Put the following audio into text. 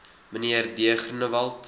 mnr d groenewald